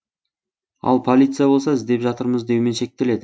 ал полиция болса іздеп жатырмыз деумен шектеледі